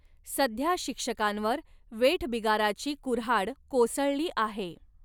सध्या शिक्षकांवर वेठबिगाराची कुऱ्हाड कोसळली आहे.